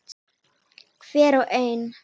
Hver og ein.